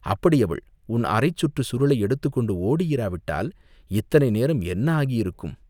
அப்படி அவள் உன் அரைச் சுற்றுச் சுருளை எடுத்துக்கொண்டு ஓடியிராவிட்டால், இத்தனை நேரம் என்ன ஆகியிருக்கும்?